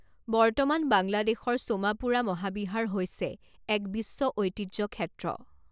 বৰ্তমান বাংলাদেশৰ সোমাপুৰা মহাবিহাৰ হৈছে এক বিশ্ব ঐতিহ্যক্ষেত্ৰ।